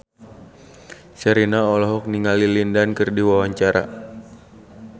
Sherina olohok ningali Lin Dan keur diwawancara